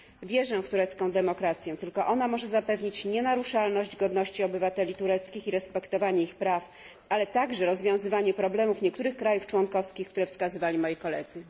Wierzę w turecką demokrację, tylko ona może zapewnić nienaruszalność godności obywateli tureckich i respektowanie ich praw, ale także rozwiązywanie problemów niektórych krajów członkowskich, które wskazywali moi koledzy.